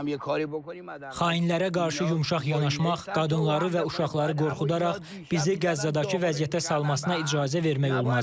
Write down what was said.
Xainlərə qarşı yumşaq yanaşmaq, qadınları və uşaqları qorxudaraq bizi Qəzzadakı vəziyyətə salmasına icazə vermək olmaz.